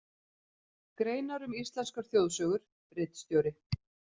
Greinar um íslenskar þjóðsögur, ritstjóri